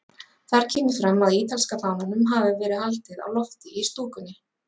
Þar kemur fram að ítalska fánanum hafi verið haldið á lofti í stúkunni.